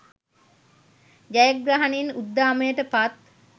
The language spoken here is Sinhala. ජයග්‍රහණයෙන් උද්දාමයට පත්